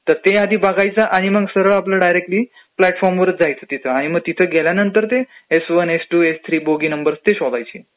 तर ते आधी बघायचं आणि सरळं आपलं डायरेक्टली प्लॅटफॉर्मवरचं जायचं तिथं आणि मग तिथं गेल्यानंतर S one, S two, S three bogie number ते शोधायचे.